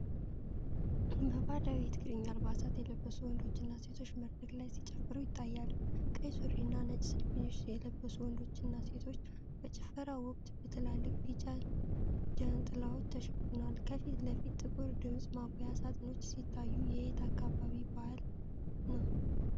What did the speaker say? በባህላዊ የትግርኛ አልባሳት የለበሱ ወንዶችና ሴቶች መድረክ ላይ ሲጨፍሩ ይታያሉ። ቀይ ሱሪና ነጭ ሸሚዝ የለበሱት ወንዶችና ሴቶች፣ በጭፈራው ወቅት በትላልቅ ቢጫ ጃንጥላዎች ተሸፍነዋል። ከፊት ለፊት ጥቁር የድምፅ ማጉያ ሳጥኖች ሲታዩ፤ የየት አካባቢ ባህል ነው?